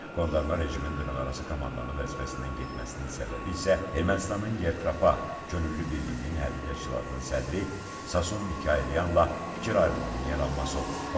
Qondarma rejimin dırnaqarası komandanı vəzifəsindən getməsinin səbəbi isə Ermənistanın Yerpa könüllü birliyinin hərbi təşkilatının sədri Sasun Mikayelyanla fikir ayrılığının yaranması olub.